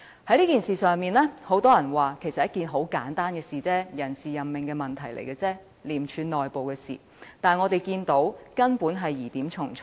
很多人聲稱這其實是一件很簡單的事情，只是人事任命問題，屬廉政公署內部事務，但我們卻看到疑點重重。